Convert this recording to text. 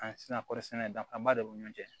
sisan kɔɔrisɛnɛ danfaraba de b'u ni ɲɔgɔn cɛ